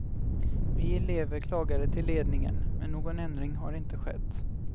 Vi elever klagade till ledningen, men någon ändring har inte skett.